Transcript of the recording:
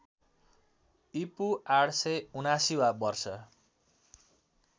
ईपू ८७९ वा वर्ष